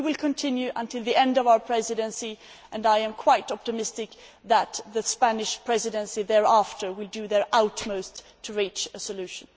But we will continue until the end of our Presidency, and I am quite optimistic that the Spanish Presidency will do their utmost to reach a solution.